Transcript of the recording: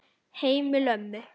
Heimili ömmu.